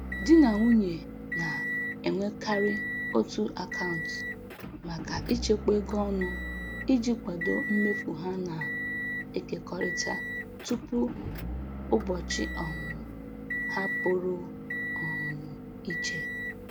Di na nwunye na-enwekarị otu akaụntụ maka ịchekwa ego ọnụ iji kwado mmefu ha na-ekekọrịta tupu ụbọchị um ha pụrụ um iche